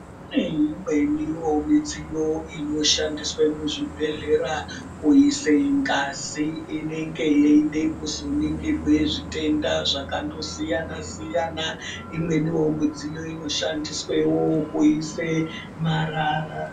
Kune imwenivo midziyo inoshandiswa muzvibhedhlera kuise ngazi inenge yeide kuzoningirwe zvitenda zvakandosiyana-siyana. Imwenivo midziyo inoshandiswevo kuise marara.